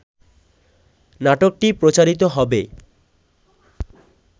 নাটকটি প্রচারিত হবে